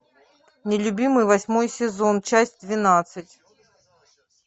нелюбимый восьмой сезон часть двенадцать